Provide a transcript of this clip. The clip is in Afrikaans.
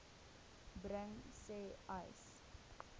bring sê uys